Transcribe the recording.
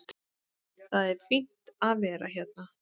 Það er fínt að vera hérna.